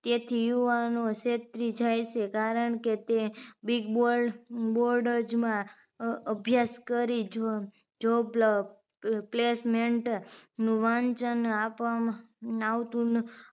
તેથી યુવાનો છેતરી જાય છે કારણ કે તે big bold bold જ માં અભ્યાસ કરી job placement નું વાંચન આપવામાં નાવતું ન